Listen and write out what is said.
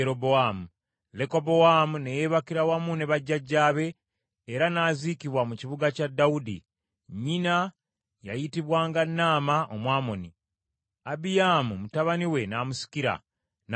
Lekobowaamu ne yeebakira wamu ne bajjajjaabe, era n’aziikibwa mu kibuga kya Dawudi. Nnyina yayitibwanga Naama Omwamoni. Abiyaamu mutabani we n’amusikira, n’alya obwakabaka.